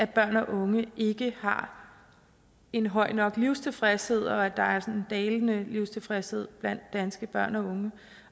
børn og unge ikke har en høj nok livstilfredshed og at der er en dalende livstilfredshed blandt danske børn og unge